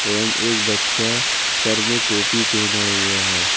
एवं एक बच्चा सर में टोपी पहना हुआ है।